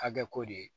Hakɛ ko de